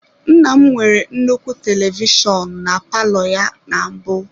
Nna m nwere nnukwu telivishọn na palọ ya na mbụ.